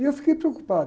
E eu fiquei preocupado.